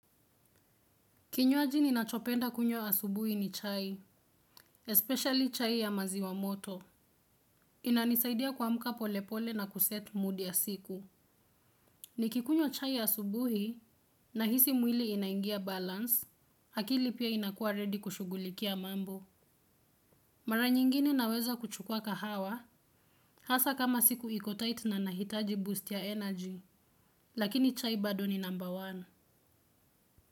Kinywaji ninachopenda kunywa asubuhi ni chai, especially chai ya maziwa moto. Inanisaidia kuamka pole pole na kuset mood ya siku. Nikikunywa chai asubuhi nahisi mwili inaingia balance, akili pia inakuwa ready kushugulikia mambo. Mara nyingine naweza kuchukua kahawa, hasa kama siku ikotait na nahitaji boost ya energy, lakini chai bado ni namba wani.